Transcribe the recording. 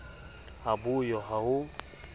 ha bo yo ha ho